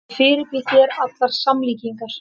Ég fyrirbýð þér allar samlíkingar.